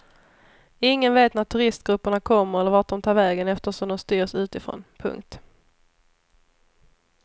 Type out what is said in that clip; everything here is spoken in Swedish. Ingen vet när turistgrupperna kommer eller vart de tar vägen eftersom de styrs utifrån. punkt